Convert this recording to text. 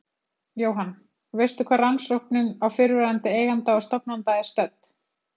Jóhann: Veistu hvar rannsóknin á fyrrverandi eiganda og stofnanda er stödd?